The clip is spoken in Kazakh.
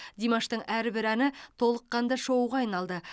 димаштың әрбір әні толыққанды шоуға айналды